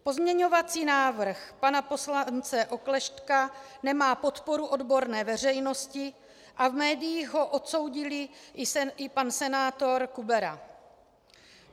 Pozměňovací návrh pana poslance Oklešťka nemá podporu odborné veřejnosti a v médiích ho odsoudil i pan senátor Kubera.